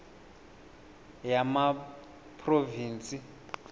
yamaphrovinsi